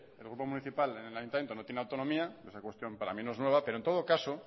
el grupo municipal en el ayuntamiento no tiene autonomía esa cuestión para mi no es nueva pero en todo caso